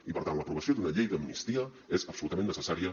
i per tant l’aprovació d’una llei d’amnistia és absolutament necessària